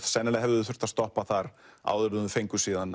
sennilega hafa þau þurft að stoppa þar áður en þau fengu síðan